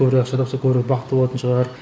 көбірек ақша тапса көбірек бақытты болатын шығар